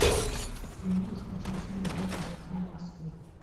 ты можешь включить фильм пятница тринадцатое